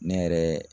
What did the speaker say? Ne yɛrɛ